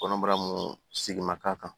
Kɔnɔbara mun segin ma k'a kan